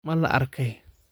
Ma la arkay?